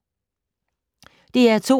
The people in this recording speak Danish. DR2